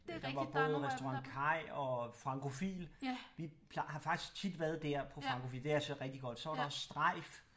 Ja der var både Restaurant Kaj og Francophile vi har faktisk tit været dér på Francophile det er altså rigtig godt så var der også Strejf